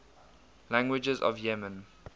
languages of yemen